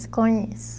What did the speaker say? Desconheço.